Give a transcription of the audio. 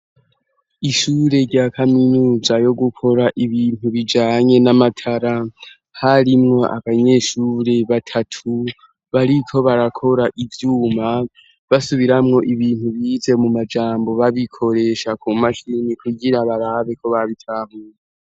Ishure rya kaminuza yo gukora ibintu bijanye n'amatara harimwo abanyeshure batatu bariko barakora ivyuma basubiramwo ibintu bize mu majambo babikoresha ku mashini kugira barabe ko babitahuye.